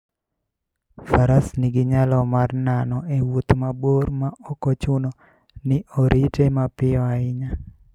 Faras nigi nyalo mar nano e wuoth mabor maok ochuno ni orite mapiyo ahinya.